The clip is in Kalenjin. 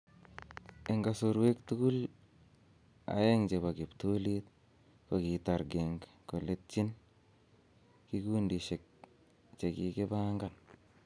En kasorwek tugul aeng chebo kiptulit, ko kitar Genk koletyin en kigundishek che kigipangan